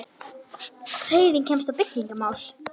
HREYFING KEMST Á BYGGINGARMÁL